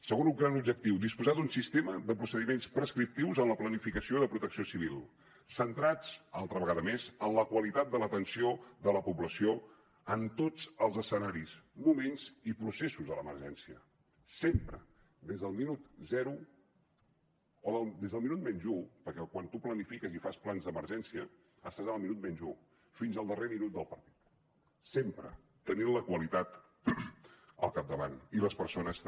segon gran objectiu disposar d’un sistema de procediments prescriptius en la planificació de protecció civil centrats altra vegada més en la qualitat de l’atenció de la població en tots els escenaris moments i processos de l’emergència sempre des del minut zero o des del minut menys u perquè quan tu planifiques i fas plans d’emergència estàs en el minut menys u fins al darrer minut del partit sempre tenint la qualitat al capdavant i les persones també